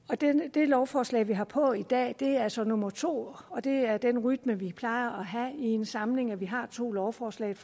det lovforslag vi har på i dag er så nummer to og det er den rytme vi plejer at have i en samling altså at vi har to lovforslag et